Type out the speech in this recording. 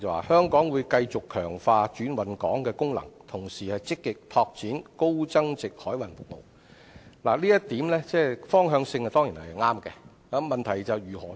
香港會繼續強化轉運港功能，同時積極拓展高增值海運服務，發揮好"超級聯繫人"的作用。